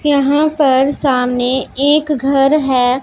यहां पर सामने एक घर है।